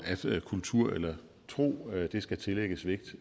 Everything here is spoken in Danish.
at kultur eller tro skal tillægges vægt